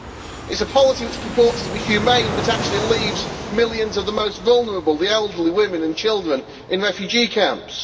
It is a policy which purports to be humane but actually leaves millions of the most vulnerable the elderly, women and children in refugee camps.